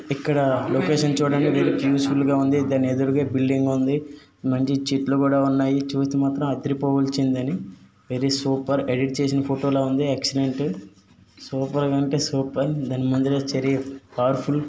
ఇక్కడ లొకేషన్ చూడండి green full గా ఉంది దాని ఎదురుగా బిల్డింగ్ ఉంది. మంచి చెట్లు కూడా ఉన్నాయి చూస్తే మాత్రం అదిరిపోవాల్సిందే అండి వెరీ సూపర్ ఎడిట్ చేసిన ఫోటో లా ఉంది ఎక్సలెంట్ సూపర్ అంటే సూపర్ దానిమధ్యలో పవర్ ఫుల్ .